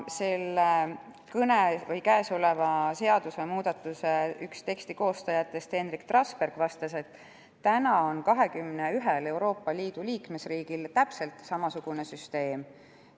Kõnealuse seadusemuudatuse teksti üks koostajatest Henrik Trasberg vastas, et 21-s Euroopa Liidu riigis on täpselt samasugune süsteem.